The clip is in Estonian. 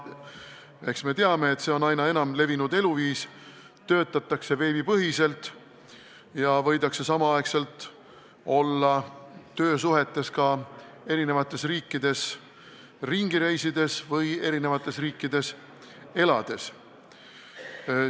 Eks me teame, et see on aina enam levinud eluviis – töötatakse veebipõhiselt ja samaaegselt võidakse olla töösuhtes eri riikides ringi reisides või seal elades.